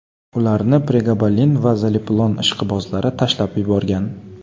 Ularni pregabalin va zaleplon ishqibozlari tashlab yuborgan.